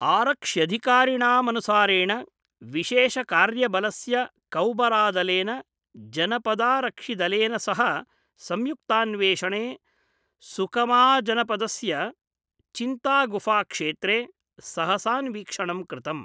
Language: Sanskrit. आरक्ष्यधिकारिणामनुसारेण विशेषकार्यबलस्य कौबरा दलेन जनपदारक्षिदलेन सह संयुक्तान्वेषणे सुकमाजनपदस्य चिंतागुफाक्षेत्रे सहसान्वीक्षणं कृतम्।